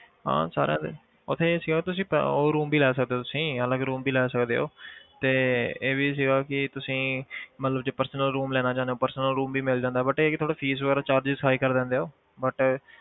ਹਾਂ ਸਾਰਿਆਂ ਦੇ ਉੱਥੇ ਇਹ ਸੀਗਾ ਤੁਸੀਂ ਅਹ ਉਹ rooms ਵੀ ਲੈ ਸਕਦੇ ਹੋ ਤੁਸੀਂ ਅਲੱਗ room ਵੀ ਲੈ ਸਕਦੇ ਹੋਤੇ ਇਹ ਵੀ ਸੀਗਾ ਕਿ ਤੁਸੀਂ ਮਤਲਬ ਜੇ personal room ਲੈਣਾ ਚਾਹੁੰਦੇ ਹੋ personal room ਵੀ ਮਿਲ ਜਾਂਦਾ but ਇਹ ਕਿ ਥੋੜ੍ਹਾ fees ਵਗ਼ੈਰਾ charges high ਕਰ ਦਿੰਦੇ ਆ ਉਹ but